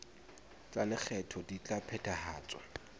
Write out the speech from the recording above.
tsa lekgetho di ka phethahatswa